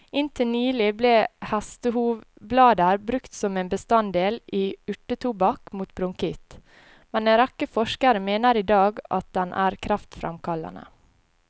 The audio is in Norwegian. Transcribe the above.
Inntil nylig ble hestehovblader brukt som en bestanddel i urtetobakk mot bronkitt, men en rekke forskere mener i dag at den er kreftfremkallende.